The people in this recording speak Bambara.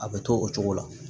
A bɛ to o cogo la